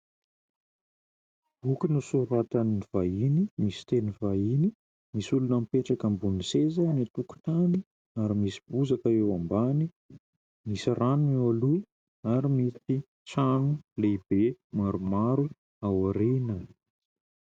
Boky nosoratan'ny vahiny, misy teny vahiny, misy olona mipetraka ambonin'ny seza eny an-tokotany, ary misy bozaka eo ambany. Misy rano eo aloha ary misy trano lehibe maromaro aoriana.